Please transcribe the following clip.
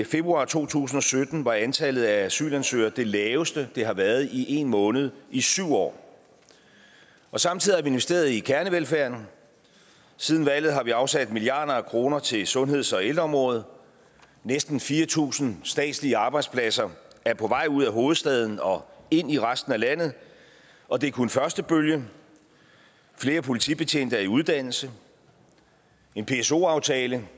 februar to tusind og sytten var antallet af asylansøgere det laveste det har været i en måned i syv år samtidig har vi investeret i kernevelfærden siden valget har vi afsat milliarder af kroner til sundheds og ældreområdet næsten fire tusind statslige arbejdspladser er på vej ud af hovedstaden og ind i resten af landet og det er kun første bølge flere politibetjente er i uddannelse en pso aftale